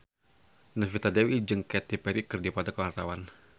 Novita Dewi jeung Katy Perry keur dipoto ku wartawan